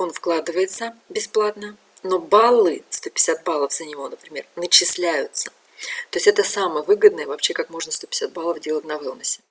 он вкладывается бесплатно но баллы сто пятьдесят баллов за него например начисляются то есть это самый выгодный вообще как можно сто пятьдесят баллов делать веллнесе